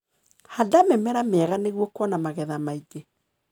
Handa mĩmera miega nĩguo kuona magetha maingĩ.